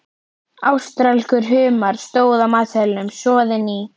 Ástralskur humar, stóð á matseðlinum, soðinn í